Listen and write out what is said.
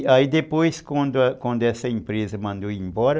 E aí depois quando quando essa empresa mandou eu ir embora,